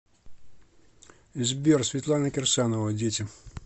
сбер светлана кирсанова дети